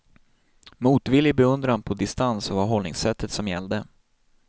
Motvillig beundran på distans var hållningssättet som gällde.